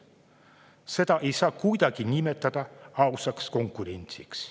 Seda ei saa kuidagi nimetada ausaks konkurentsiks.